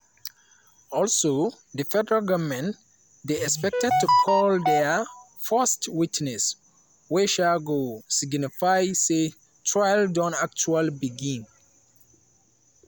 also di federal goment dey expected to call dia first witness wey um go signify say trial don actually begin.